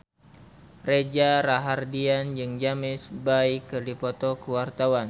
Reza Rahardian jeung James Bay keur dipoto ku wartawan